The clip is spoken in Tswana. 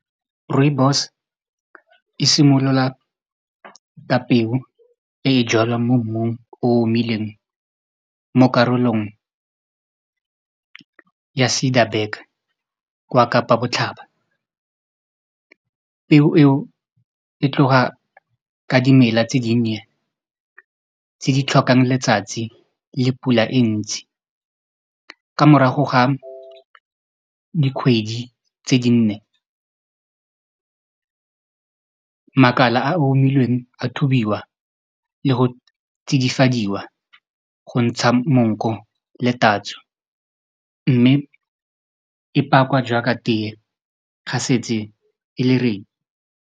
Rooibos e simolola ka peo e e jalwang mo mmung o omileng mo karolong ya Ciderberg kwa Kapa botlhaba peo e tloga ka dimela tse di nnye tse di tlhokang letsatsi le pula e ntsi ka morago ga dikgwedi tse di nne makala a omileng a thubiwa le go tsidifadiwa go ntsha monko le tatso mme e pakwa jaaka tee ga setse e le ready.